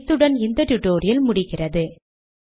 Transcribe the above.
இத்துடன் இந்த டுடோரியலின் முடிவுக்கு வந்துவிட்டோம்